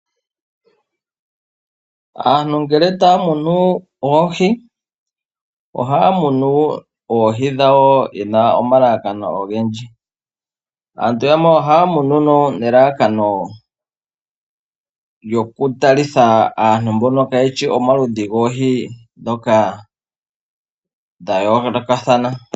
Aantu ngele taya munu oohi ohaya munu yena omalalakano ogendji. Aantu yamwe ohaya munu nelalakano lyokutalitha aantu mbono kaayeshi omaludhi goohi ndhoka dhayoolokathana.